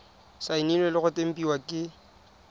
saenilwe le go tempiwa ke